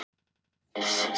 vaxin kafloðin könguló.